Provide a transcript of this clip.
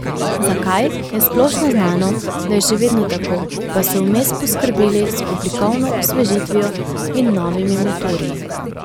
Zakaj, je splošno znano, da je še vedno tako, pa so vmes poskrbeli z oblikovno osvežitvijo in novimi motorji.